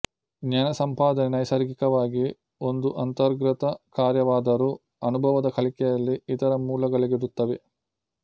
ಜ್ಞಾನ ಸಂಪಾದನೆ ನೈಸರ್ಗಿಕವಾಗಿ ಒಂದು ಅಂತರ್ಗತ ಕಾರ್ಯಾವಾದರು ಅನುಭವದ ಕಲಿಕೆಯಲ್ಲಿ ಇತರ ಮೂಲಗಳಿರುತ್ತವೆ